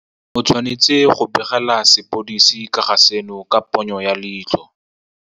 O tshwanetse go begela sepodisi ka ga seno ka ponyo ya leitlho.